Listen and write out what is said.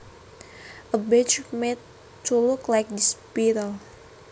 A badge made to look like this beetle